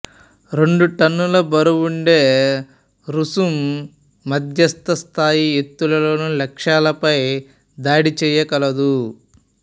రెండు టన్నుల బరువు ఉండే రుస్తుం మద్యస్థ స్థాయి ఎత్తుల్లోని లక్ష్యాలపై దాడి చేయగలదు